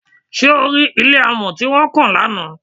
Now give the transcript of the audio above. Ṣé o rí ilé amọ̀ tí wọ́n kàn lánàá?